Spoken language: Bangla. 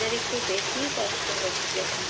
এবার একটু বেশী কষ্ট হচ্ছে।